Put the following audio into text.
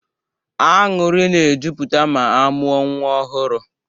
Aṅụrị na e jupụta ma amụọ nwa ọhụrụ